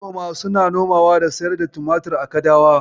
Manoma suna nomawa da siyar da tumatir a kadawa.